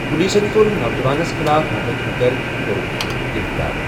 پُلیٖسن کوٚر نوجوانَس خٕلاف مُقدِمہٕ درٕج تہٕ کوٚرُن سُہ گِرِفتار ۔